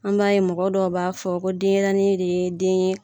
An b'a ye mɔgɔ dɔ b'a fɔ ko denyɛrɛnin ne ye den ye